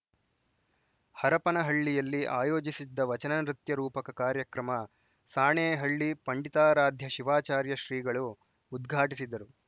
ಹರಪನಹಳ್ಳಿಯಲ್ಲಿ ಆಯೋಜಿಸಿದ್ದ ವಚನ ನೃತ್ಯ ರೂಪಕ ಕಾರ್ಯಕ್ರಮ ಸಾಣೇಹಳ್ಳಿ ಪಂಡಿತಾರಾಧ್ಯ ಶಿವಾಚಾರ್ಯ ಶ್ರೀಗಳು ಉದ್ಘಾಟಿಸಿದರು